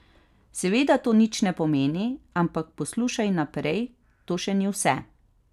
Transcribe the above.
Seveda to nič ne pomeni, ampak poslušaj naprej, to še ni vse.